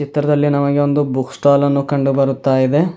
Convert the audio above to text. ತರದಲ್ಲಿ ನಮಗೆ ಒಂದು ಬುಕ್ ಸ್ಟಾಲ್ ಅನ್ನು ಕಂಡು ಬರುತ್ತಾ ಇದೆ.